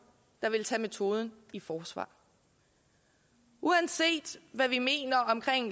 der ville tage metoden i forsvar uanset hvad vi mener om